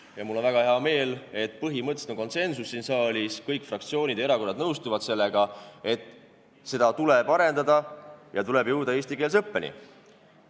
Ja mul on väga hea meel, et põhimõtteliselt on siin saalis konsensus – kõik fraktsioonid ja erakonnad nõustuvad sellega, et seda tuleb arendada ja tuleb jõuda eestikeelse õppeni.